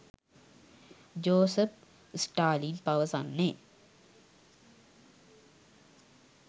Joseph Stalin පවසන්නේ